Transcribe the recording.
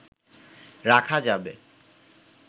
রাখা যাবে